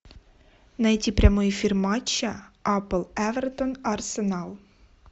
найти прямой эфир матча апл эвертон арсенал